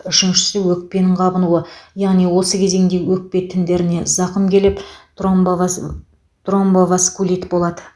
үшіншісі өкпенің қабынуы яғни осы кезеңде өкпе тіндеріне зақым келіп тромбовас тромбоваскулит болады